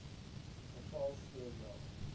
geval so ja